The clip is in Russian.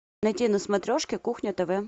найти на смотрешке кухня тв